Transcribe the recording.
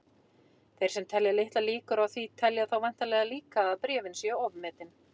Þeir sem telja litlar líkur á því telja þá væntanlega líka að bréfin séu ofmetin.